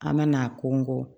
An bɛna a kɔngɔ